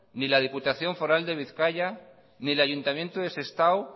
ni la diputación foral de bizkaia ni el ayuntamiento de sestao